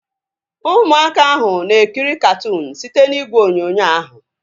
Ụmụaka ahu na-ekiri katụụnu site n'igwe onyonyo ahu